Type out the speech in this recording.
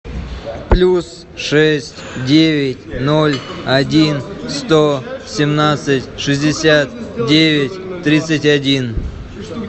плюс шесть девять ноль один сто семнадцать шестьдесят девять тридцать один